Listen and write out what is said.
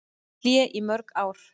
Hlé í mörg ár